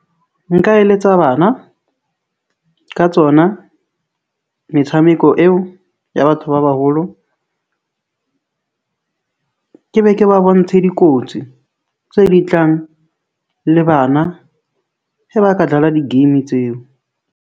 Nka eletsa bana ka tsona metshameko eo ya batho ba baholo. Ke be ke ba bontshe dikotsi tse ding tlang le bana he ba ka dlala di-game tseo.